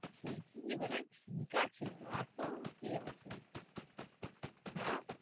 ঠিকই বানায় ঠিক আছে এতো কি আছে হ্যাঁ,